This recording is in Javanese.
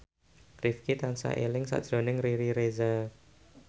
Rifqi tansah eling sakjroning Riri Reza